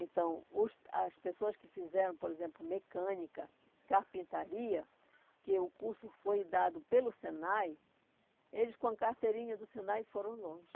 Então, os as pessoas que fizeram, por exemplo, mecânica, carpintaria, que o curso foi dado pelo Senai, eles com a carteirinha do Senai foram longe.